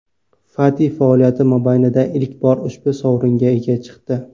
Fati faoliyati mobaynida ilk bor ushbu sovringa ega chiqdi.